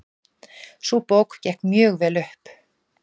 Sú bók gekk mjög vel upp.